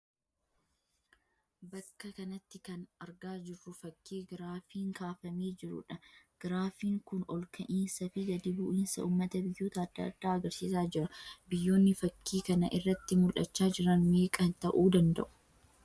Bakka kanatti kan argaa jirru fakkii giraafiin kaafamee jiruudha. Giraafiin kun ol ka'insaa fi gadi bu'insa uummata biyyoota adda addaa agarsiisaa jira. biyyoonni fakkii kana irratti mul'achaa jiran meeqa ta'uu danda'u?